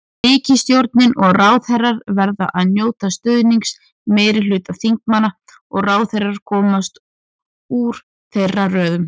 Ríkisstjórnin og ráðherrar verða að njóta stuðnings meirihluta þingmanna og ráðherrar koma úr þeirra röðum.